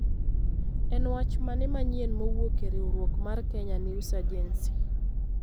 En wach mane manyien mowuok e riwruok mar Kenya news agency?